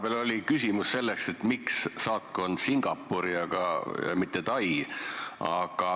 Vahepeal oli küsimus selle kohta, et miks avada saatkond Singapuris, aga mitte Tais.